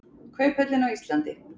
Kauphöllin á Íslandi.